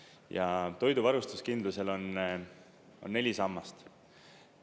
Ja toidu varustuskindlusel on neli sammast.